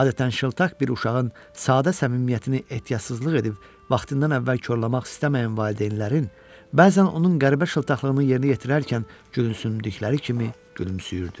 Adətən şıltaq bir uşağın sadə səmimiyyətini ehtiyatsızlıq edib vaxtından əvvəl korlamaq istəməyən valideynlərin bəzən onun qəribə şıltaqlığını yerinə yetirərkən gülümsündükləri kimi gülümsüyürdü.